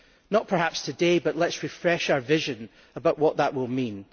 Not perhaps today, but let us refresh our vision about what that will mean.